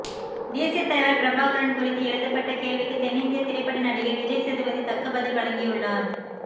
தேசிய தலைவர் பிரபாகரன் குறித்து எழுப்பப்பட்ட கேள்விக்கு தென்னிந்திய திரைப்பட நடிகர் விஜய் சேதுபதி தக்க பதில் வழங்கியுள்ளார்